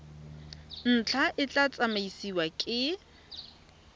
ntlha e tla tsamaisiwa ke